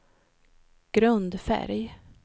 grundfärg